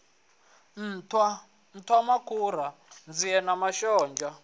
nṱhwa nṱhwamakhura nzie na mashonzha